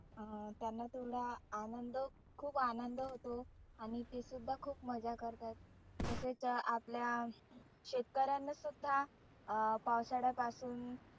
अं त्यांना तेवढा आनंद खुप आनंद होतो. आणि ते सुद्धा खुप मज्जा करतात. तसेच आपल्या शेतकऱ्यांना सुद्धा अं पावसाळ्या पासुन